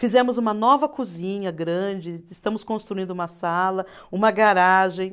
Fizemos uma nova cozinha grande, estamos construindo uma sala, uma garagem.